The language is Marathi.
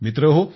मित्रहो